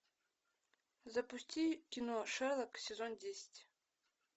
запусти кино шерлок сезон десять